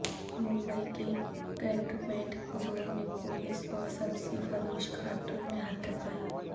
ممبئی کے containment zone میں police اور سبزی فروش خاتون میں ہاتھا پائی